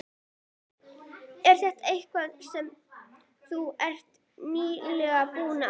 Er þetta eitthvað sem þú ert nýlega búinn að ákveða.